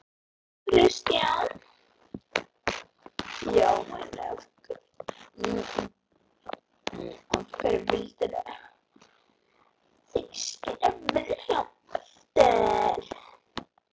Kristján: Já, en af hverju vildu þið skilja Vilhjálm eftir?